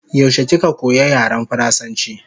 Yaushe kika koya yaren faransanchi?